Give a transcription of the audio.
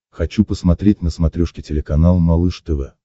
хочу посмотреть на смотрешке телеканал малыш тв